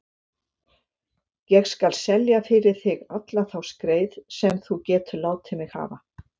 Ég skal selja fyrir þig alla þá skreið sem þú getur látið mig hafa.